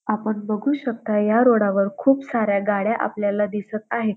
आपण बघू शकता या रोडा वर खूप साऱ्या गाड्या आपल्याला दिसत आहेत.